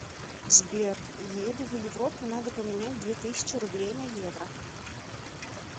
сбер еду в европу надо поменять две тысячи рублей на евро